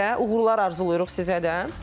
Uğurlar arzulayırıq sizə də.